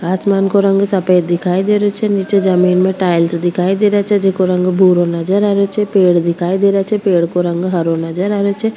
आसमान को रंग सफ़ेद दिखाई दे रो छे निचे जमीं में टाइल्स दिखाई दे रेहा छे जिको रंग भूरो नजर आ रेयो छे पेड़ दिखाई दे रा छे पेड़ को रंग हरो नजर आरेहो छे।